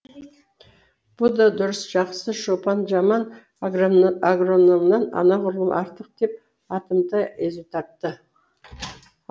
бұ да дұрыс жақсы шопан жаман агрономнан анағұрлым артық деп атымтай езу тартты